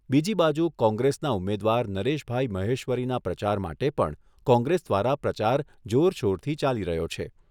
બીજી બાજુ કોંગ્રેસના ઉમેદવાર નરેશભાઈ મહેશ્વરીના પ્રચાર માટે પણ કોંગ્રેસ દ્વારા પ્રચાર જોરશોરથી ચાલી રહ્યો છે.